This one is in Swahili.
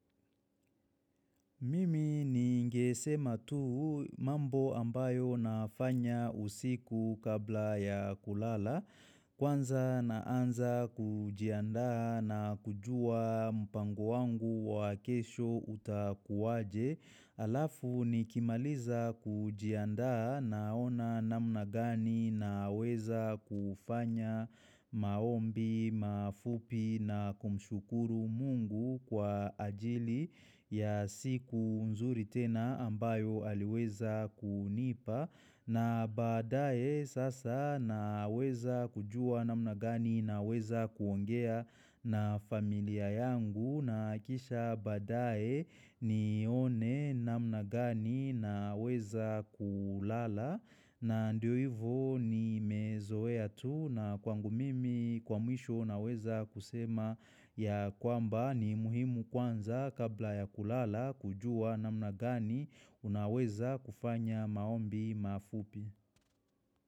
Mimi niingesema tu mambo ambayo nafanya usiku kabla ya kulala, kwanza na anza kujiandaa na kujua mpango wangu wa kesho utakuwaje. Alafu nikimaliza kujiandaa na ona namna gani na weza kufanya maombi, mafupi na kumshukuru mungu kwa ajili ya siku nzuri tena ambayo aliweza kunipa. Na baadae sasa naweza kujua namna gani naweza kuongea na familia yangu na kisha badae nione namnagani naweza kulala na ndio hivo ni mezoea tu na kwangu mimi kwa mwisho naweza kusema ya kwamba ni muhimu kwanza kabla ya kulala kujua namna gani unaweza kufanya maombi mafupi.